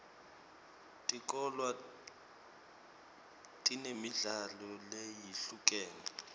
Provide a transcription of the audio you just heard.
tikolwa tinemidlalo leyehlukene